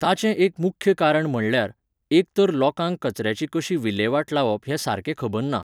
ताचें एक मुख्य कारण म्हणल्यार, एक तर लोकांक कचऱ्याची कशी विल्लेवाट लावप हें सारकें खबर ना